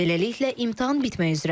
Beləliklə, imtahan bitmək üzrədir.